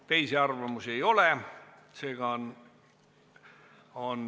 Teisi arvamusi ei ole.